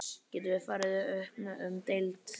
Getum við farið upp um deild?